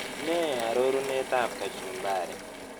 Nee arorunetap kachumbari